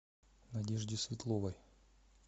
надежде светловой